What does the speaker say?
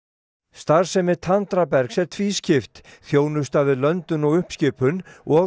starfsemi Tandrabergs er tvískipt þjónusta við löndun og uppskipun og